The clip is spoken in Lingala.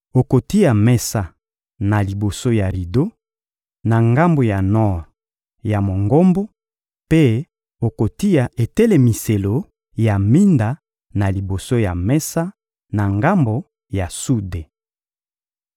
Okotia mesa na liboso ya rido, na ngambo ya nor ya Mongombo, mpe okotia etelemiselo ya minda na liboso ya mesa, na ngambo ya sude.